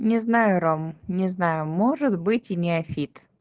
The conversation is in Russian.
не знаю ром не знаю может быть и неофит